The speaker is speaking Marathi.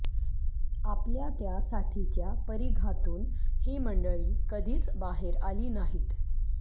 आपल्या त्या साठीच्या परिघातून ही मंडळी कधीच बाहेर आली नाहीत